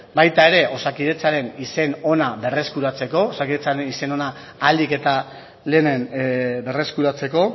baita ere osakidetzaren izen ona berreskuratzeko osakidetzaren izen ona ahalik eta lehenen berreskuratzeko